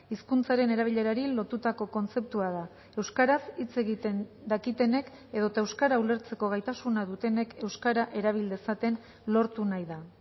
hizkuntzaren erabilerari lotutako kontzeptua da euskaraz hitz egiten dakitenek edota euskara ulertzeko gaitasuna dutenek euskara erabil dezaten lortu nahi da